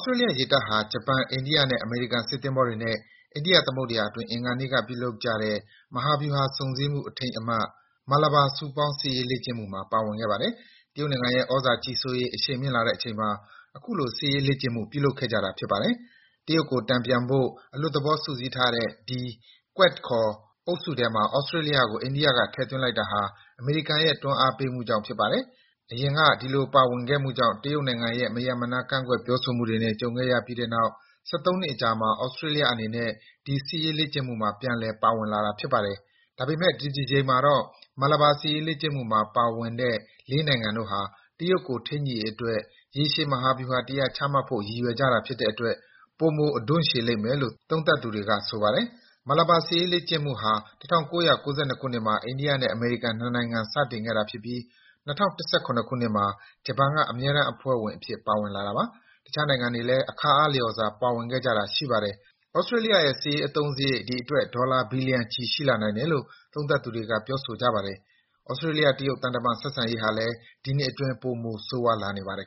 စတြေးလျ ရေတပ်ဟာ ဂျပန် အိန္ဒိယ နဲ့ အမေရိကန် စစ်သင်္ဘောတွေ အိန္ဒိယသမုဒ္ဒရာအတွင်း အင်္ဂါနေ့က ပြုလုပ်ကြတဲ့ မဟာဗျူဟာဆုံစည်းမှု အထိမ်းအမှတ် Malabar စုပေါင်း စစ်ရေးလေ့ကျင့်မှု မှာ ပါဝင်ခဲ့ပါတယ်။ တရုတ်နိုင်ငံ ရဲ့သြဇာကြီးစိုးရေး အရှိန်မြှင့်လာတဲ့အချိန်မှာ အခုလို စစ်ရေးလေ့ကျင့် မှု ပြုလုပ်ခဲ့ကြတာဖြစ်ပါတယ်။ တရုတ်ကို တန်ပြန်ဖို့ အလွတ်သဘောစုစည်းထားတဲ့ ဒီ Quad ခေါ် အုပ်စုထဲမှာ သြစတြေးလျကို အိန္ဒိယကထည့်သွင်းလိုက်တာဟာ အမေရိကန်ရဲ့တွန်းအားပေးမှုကြောင့်ဖြစ်ပါတယ်။ယခင်က ဒီလိုပါဝင်ခဲ့မှုကြောင့် တရုတ်နိုင်ငံရဲ့ မရပ်မနားကန့်ကွက်ပြောဆိုမှုတွေ ကြုံခဲ့ရပြီးတဲ့နောက် ၁၃ နှစ်အကြာမှာ သြစတြေးလျအနေနဲ့ ဒီစစ်ရေးလေ့ကျင့်မှုမှာ ပြန်လည် ပါဝင်လာတာဖြစ်ပါတယ်။ ဒါပေမယ့် ဒီတကြိမ်မှာတော့ Malabar စစ်ရေးလေ့ကျင့်မှုမှာပါဝင်တဲ့ ၄ နိုင်ငံတို့ဟာ တရုတ်ကို ထိန်းညှိရေးအတွက် ရေရှည်မဟာဗျူဟာတရပ် ချမှတ်ဖို့ရည်ရွယ်ကြတာဖြစ်တဲ့အတွက် ပိုမို အဓွန့်ရှည်လိမ့်မယ်လို့ သုံးသပ်တွေက ဆိုပါတယ်။ Malabar စစ်ရေးလေ့ကျင့်မှုဟာ ၁၉၉၂ မှာ အိန္ဒိယ နဲ့ အမေရိကန် ၂ နိုင်ငံစတင်ခဲ့တာဖြစ်ပြီး ၂၀၁၇ မှာ ဂျပန် က အမြဲတမ်းအဖွဲ့ဝင် အဖြစ် ပါဝင်လာတာပါ။ တခြားနိုင်ငံတွေလဲ အခါအားလျှော်စွာ ပါဝင်ခဲ့ကြပါတယ်။ သြစတြေးလျရဲ့ စစ်ရေးအသုံးစရိတ် ဒီအတွက် ဒေါ်လာဘီလျံချီ ရှိလာနိုင်တယ်လို့ သုံးသပ်သူတွေက ဆိုကြပါတယ်။ သြစတြေးလျ- တရုတ် သံတမန်ဆက်ဆံရေးဟာလဲ ဒီနှစ်အတွင်း ပိုမိုဆိုးရွားလာနေပါတယ်